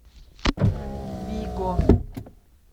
виго